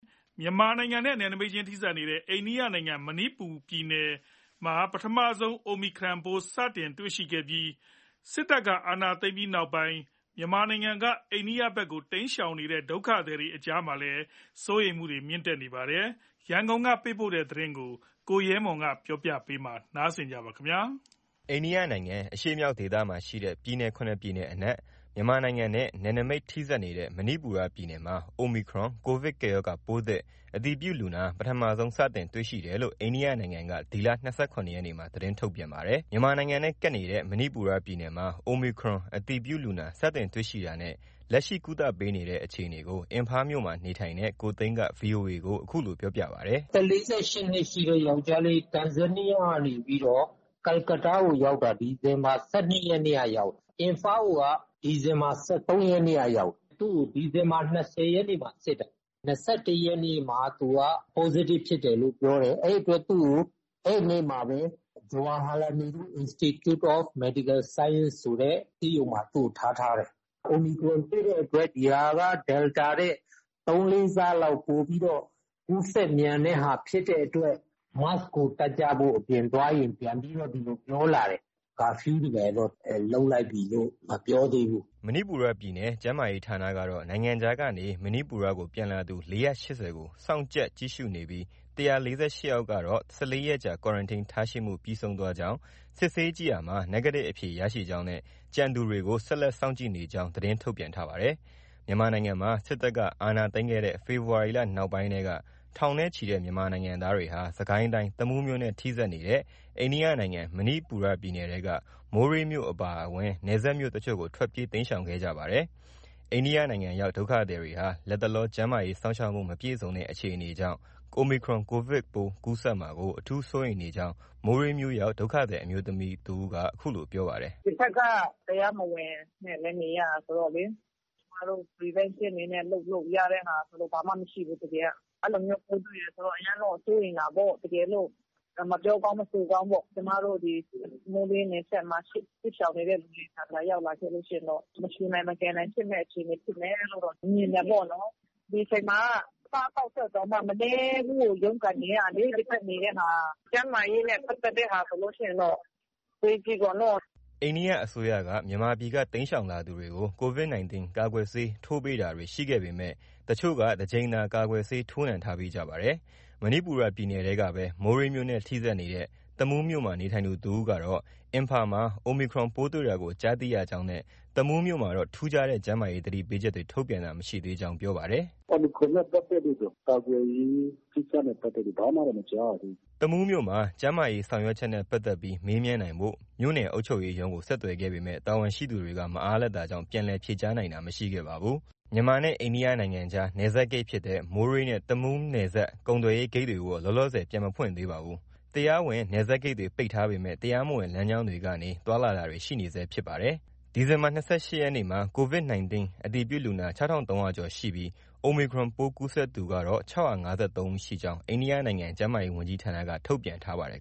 မြန်မာနိုင်ငံနဲ့ နယ်နမိတ်ချင်းထိစပ်နေတဲ့ အိန္ဒိယနိုင်ငံ မဏိပူရပြည်နယ်မှာ ပထမဆုံး Omicron ကိုဗစ်ပိုးသစ်ကူးစက်သူ စတင်တွေ့ရှိထားပါတယ်။ စစ်တပ်အာဏာသိမ်းပြီးနောက်မြန်မာနိုင်ငံကနေ အိန္ဒိယနိုင်ငံဘက်ကို တိမ်းရှောင်နေတဲ့ ဒုက္ခသည်တွေအများအပြား မဏိပူရပြည်နယ်ဘက်မှာ ရှိနေတာကြောင့် Omicron ကိုဗစ်ပိုးသစ်ကူးစက် ပျံ့နှံ့မှာ အတော်လေးစိုးရိမ်နေကြကြောင်း ရန်ကုန်ကနေ သတင်းပေးပို့ထားပါတယ်။ အိန္ဒိယနိုင်ငံအရှေ့မြောက်ဒေသမှာရှိတဲ့ ပြည်နယ် ၇ ပြည်နယ်အနက် မြန်မာနိုင်ငံနဲ့ နယ်နိမိတ် ထိဆက်နေတဲ့ မဏိပူရပြည်နယ်မှာ Omicron ကိုဗစ်ကပ်ရောဂါ ပိုးသစ်အတည်ပြုလူနာ ပထမဆုံး စတင်တွေ့ရှိတယ် လို့ အိန္ဒိယနိုင်ငံက ဒီလ ၂၇ ရက်နေ့မှာ သတင်းထုတ်ပြန်ထားပါတယ်။ မြန်မာနိုင်ငံနဲ့ ကပ်နေတဲ့ မဏိပူရပြည်နယ်မှာ Omicron အတည်ပြုလူနာ စတင်တွေ့ရှိတာနဲ့ လက်ရှိ ကုသပေးနေတဲ့ အခြေအနေကို အင်ဖားမြို့မှာ နေထိုင်နေတဲ့ ကိုသိန်းက VOA ကို အခုလို ပြောပြပါတယ်။ “အသက် ၄၈ နှစ်ရှိတဲ့ယောင်္ကျားလေး တန်ဇန်နီးယားကနေ ကာလကတ္တားကို ရောက်တာ ဒီဇင် ဘာ ၁၂ ရက်နေ့ကနေ ရောက်တာ။ အင်ဖားကိုက ဒီဇင်ဘာ ၁၃ ရက်နေ့က ရောက်တာ။ သူ့ကို ဒီဇင်ဘာ ၂၀ ရက်နေ့မှာ စစ်တာ။ ၂၁ ရက်နေ့မှာ သူက Positive ဖြစ်တယ်လို့ ပြောတယ်။ အဲဒီအတွက် သူ့ကို အဲဒီနေ့မှာပဲ Jawaharlal Nehru Institute of Medical Science ဆိုတဲ့ ဆေးရုံမှာ သူ့ကို ထားထားတယ်။ Omicron တွေ့တဲ့အတွက် ဒီဟာက Delta ထက် ၃-၄ ဆလောက် ပိုပြီးတော့ ကူးစက်မြန်တဲ့ဟာဖြစ်တဲ့အတွက် Mask ကို တပ်ကြဖို့၊ အပြင်သွားရင် ပြန်ပြီးတော့ ဒီလို ပြောလာတယ်။ Curfew တွေ ဘာတွေတော့ လုပ်လိုက်ပြီလို့ မပြောသေးဘူး။ ” မဏိပူရပြည်နယ် ကျန်းမာရေးဌာနကတော့ နိုင်ငံခြားကနေမဏိပူရကို ပြန်လာသူ ၄၈၀ ကို စောင့်ကြပ်ကြည့်ရှုနေပြီး ၁၄၈ ယောက်ကတော့ ၁၄ ရက်ကြာ Quarantine ထားရှိမှုပြီးဆုံးသွားကြောင်း ၊ စစ်ဆေးကြည့်ရာမှာ Negative အဖြေရရှိကြောင်းနဲ့ ကျန်သူတွေကို ဆက်လက် စောင့်ကြည့်နေကြောင်း သတင်း ထုတ်ပြန်ထားပါတယ်။ မြန်မာနိုင်ငံမှာ စစ်တပ်က အာဏာသိမ်းခဲ့တဲ့ ဖေဖော်ဝါရီလ နောက်ပိုင်းကတည်းက ထောင်နဲ့ချီတဲ့ မြန်မာနိုင်ငံသားတွေဟာ စစ်ကိုင်းတိုင်း တမူးမြို့နဲ့ ထိစပ်နေတဲ့ အိန္ဒိယနိုင်ငံ မဏိပူရပြည်နယ်ထဲက မိုးရေးမြို့အပါအဝင် နယ်စပ်မြို့တချို့ကို ထွက်ပြေး တိမ်းရှောင်ခဲ့ကြပါတယ်။ အိန္ဒိယနိုင်ငံရောက် ဒုက္ခသည်တွေဟာ လတ်တလော ကျန်းမာရေး စောင့်ရှောက်မှု မပြည့်စုံတဲ့ အခြေအနေ ကြောင့် Omicron ကိုဗစ်ပိုးကူးစက်မှာကို အထူး စိုးရိမ်နေကြောင်း မိုးရေးမြို့ရောက် ဒုက္ခသည်အမျိုးသမီး တစ်ဦးက ပြောပါတယ်။ “ဒီဘက်က တရားမဝင်နဲ့လည်း နေရတာဆိုတော့လေ ကျမတို့ Prevention အနေနဲ့ လုပ်လို့ ရတဲ့ဟာဆိုတာက ဘာမှ မရှိဘူး။ တကယ်က။ အဲလိုမျိုး ပိုးတွေ့တယ်ဆိုတော့ အရမ်းတော့ စိုးရိမ်တာပေါ့။ တကယ်လို့ မပြောကောင်း မဆိုကောင်းပေါ့။ ကျမတို့ မိုးရေးနယ်စပ်မှာရှိတဲ့ စစ်ရှောင်နေတဲ့ သူတွေထံမှာ ရောက်လာခဲ့လို့ ရှိရင်တော့ မရှုနိုင် မကယ်နိုင် ဖြစ်မယ့်အခြေအနေ ဖြစ်မယ်လို့တော့ မြင်တယ်ပေါ့နော်။ ဒီအချိန်မှာက အစားအသောက်အတွက်တောင်မှ မနည်းရုန်းကန်နေရတာလေ ဒီဘက်နေတဲ့ဟာ။ ကျန်းမာရေးနဲ့ ပတ်သက်တဲ့ဟာဆိုလို့ ရှိရင်တော့ အဝေးကြီးပေါ့နော။” အိန္ဒိယအစိုးရက မြန်မာပြည်က တိမ်းရှောင်လာသူတွေကို Covid 19 ကာကွယ်ဆေးထိုးပေးတာတွေ ရှိခဲ့ပေမဲ့တချို့က တကြိမ်သာ ကာကွယ်ဆေး ထိုးနှံထားပြီးကြပါတယ်။ မဏိပူရပြည်နယ်ထဲကပဲ မိုးရေးမြို့နဲ့ ထိစပ်နေတဲ့ တမူးမြို့မှာနေထိုင်သူတဦးကတော့ အင်ဖာမှာ Omicron ပိုးတွေ့တာကို ကြားသိရကြောင်းနဲ့ တမူးမြို့မှာတော့ ထူးခြားတဲ့ ကျန်းမာရေး သတိပေးချက်တွေ ထုတ်ပြန်တာ မရှိသေးကြောင်း ပြောပါတယ်။ “Omicron နဲ့ ပတ်သက်လို့တော့ ကာကွယ်ရေးကိစ္စနဲ့ပတ်သက်လို့တော့ ဘာမှတော့ မကြားရသေးဘူး။” တမူးမြို့မှာ ကျန်းမာရေးဆောင်ရွက်ချက်နဲ့ ပတ်သက်ပြီး မေးမြန်းနိုင်ဖို့ မြို့နယ်အုပ်ချုပ်ရေးရုံးကို ဆက်သွယ်ခဲ့ပေမဲ့ တာဝန်ရှိသူတွေ မအားလပ်တာကြောင့် ပြန်လည် ဖြေကြားနိုင်တာ မရှိခဲ့ပါဘူး။ မြန်မာနဲ့ အိန္ဒိယနိုင်ငံကြား နယ်စပ်ဂိတ်ဖြစ်တဲ့ မိုးရေးနဲ့ တမူးနယ်စပ်ကုန်သွယ်ရေးဂိတ်တွေကိုတော့ လောလောဆယ်ပြန်မဖွင့်သေးပါဘူး။ တရားဝင် နယ်စပ်ဂိတ်တွေ ပိတ်ထားပေမဲ့ တရားမဝင်လမ်းကြောင်းတွေကနေ သွားလာတာတွေ ရှိနေဆဲဖြစ်ပါတယ်။ အိန္ဒိယနိုင်ငံမှာ ဒီနေ့ ဒီဇင်ဘာ ၂၈ ရက် အတွက် Covid 19 အတည်ပြုလူနာ ၆၃၀၀ ကျော်ရှိပြီး Omicron ပိုးကူးစက်မှုသူ၆၅၃ ဦးရှိကြောင်း အိန္ဒိယနိုင်ငံကျန်းမာရေးဝန်ကြီးဌာနက ထုတ်ပြန်ထားပါတယ်